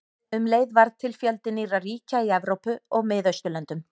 Um leið varð til fjöldi nýrra ríkja í Evrópu og Miðausturlöndum.